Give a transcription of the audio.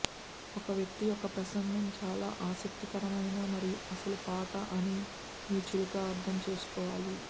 ఒక వ్యక్తి యొక్క ప్రసంగం చాలా ఆసక్తికరమైన మరియు అసలు పాట అని మీ చిలుక అర్థం చేసుకోవాలి